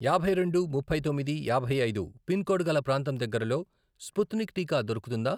యాభై రెండు, ముప్పై తొమ్మిది, యాభై ఐదు, పిన్ కోడ్ గల ప్రాంతం దగ్గరలో స్పుత్నిక్ టీకా దొరుకుతుందా?